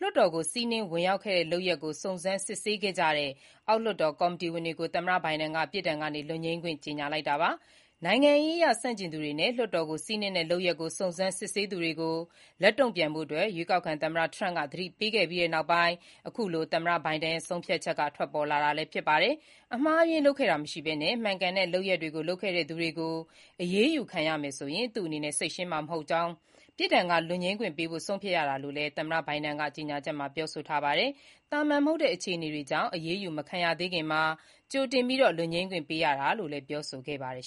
လွှတ်တော်ကို စီးနင်းဝင်ရောက်ခဲ့တဲ့ လုပ်ရပ်ကို စုံစမ်းစစ်ဆေးခဲ့ကြတဲ့ အောက်လွှတ်တော် ကော်မတီဝင်တွေကို သမ္မတဘိုင်ဒင် ပြစ်ဒဏ်က လွတ်ငြိမ်းခွင့် ကြေညာလိုက်တာပါ။ နိုင်ငံရေးအရ ဆန့်ကျင်သူတွေနဲ့ လွှတ်တော်ကို စီးနင်းတဲ့ လုပ်ရပ်ကို စုံစမ်းစစ်ဆေးသူတွေကို လက်တုံ့ပြန်ဖို့ ရွေးကောက်ခံသမ္မတ ထရမ့်က သတိပေးခဲ့ပြီးနောက် သမ္မတဘိုင်ဒင် ရဲ့ ဆုံးဖြတ်ချက် ထွက်ပေါ်လာတာလည်း ဖြစ်ပါတယ်။ အမှားအယွင်း လုပ်ခဲ့တာ မရှိခဲ့ဘဲ မှန်ကန်တဲ့ လုပ်ရပ်တွေကို လုပ်ခဲ့တဲ့သူတွေ အရေးယူခံရမယ်ဆိုရင် သူ့အနေနဲ့ စိတ်ရှင်းမှာ မဟုတ်တာကြောင့် ပြစ်ဒဏ်က လွတ်ငြိမ်းခွင့်ပေးဖို့ ဆုံးဖြတ်ရတာလို့လည်း သမ္မတဘိုင်ဒင်က ကြေညာချက်မှာ ပြောဆိုခဲ့တာပါ။ သာမာန် မဟုတ်တဲ့ အခြေအနေကြောင့် အရေးယူ မခံရသေးခင်မှာ ကြိုတင် လွတ်ငြိမ်းခွင့်ပေးရတာလို့လည်း ပြောဆိုခဲ့ပါတယ်